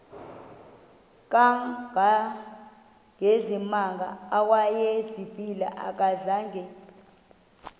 kangangezimanga awayezivile akazanga